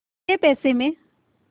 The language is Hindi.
कै पैसे में